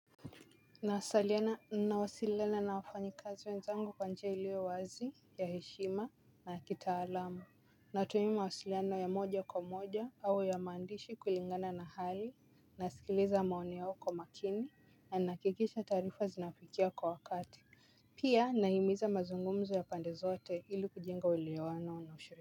Nawasiliana na wafanyikazi wenzangu kwa njia ilio wazi ya heshima na ya kitaalamu. Natumia mawasiliano ya moja kwa moja au ya maandishi kulingana na hali nasikiliza maoni yao kwa umakini na nahakikisha taarifa zinawafikia kwa wakati. Pia nahimiza mazungumzo ya pande zote ili kujenga uelewano na ushuri.